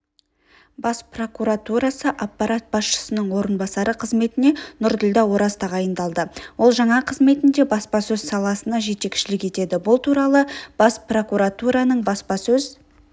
бас прокуратурасы аппарат басшысының орынбасары қызметіне нұрділдә ораз тағайындалды ол жаңа қызметінде баспасөз саласына жетекшілік етеді бұл туралы бас прокуратураның баспасөз